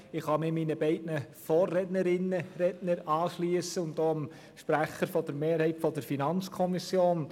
Ich kann mich meinen beiden Vorrednerinnen, Vorrednern anschliessen, und auch dem Sprecher der Mehrheit der FiKo.